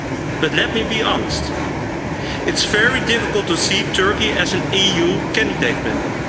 But let me be honest it is very difficult to see Turkey as an EU candidate member.